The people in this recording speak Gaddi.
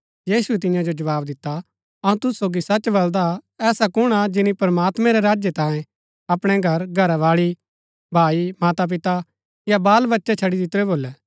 यीशुऐ तियां जो जवाव दिता अऊँ तुसु सोगी सच बलदा ऐसा कुण हा जिनी प्रमात्मां रै राज्य तांयें अपणै घर घरावाळी भाई मातापिता या बाल बच्चै छड़ी दितुरै भोलै